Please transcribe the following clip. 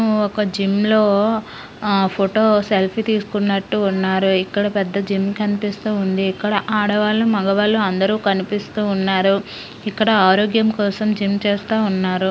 ఒక జిమ్ లో ఆ ఫోటో సెల్ఫీ తీసుకుంటున్నట్టు ఉన్నారు. ఇక్కడ పెద్ద జిమ్ కనిపిస్తుంది. ఇక్కడ ఆడవాళ్లు మగవాళ్ళు అందరూ కనిపిస్తూ ఉన్నారు. ఇక్కడ ఆరోగ్యం కోసం జిమ్ చేస్తా ఉన్నారు.